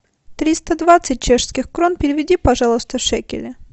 триста двадцать чешских крон переведи пожалуйста в шекели